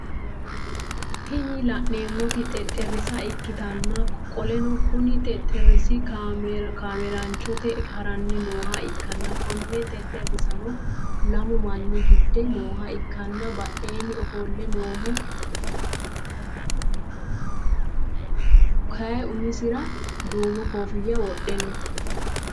Tini laneemoti xexerisa ikkitanna qoleno Kuni xexerisi kameelanchote haranni noha ikkanna Konni xexerisirano lamu manni gidde nooha ikkanna badheeni ofolle noohu kayumisira duumo koffiya wodhe no